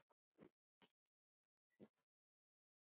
Ég las dálítið mikið.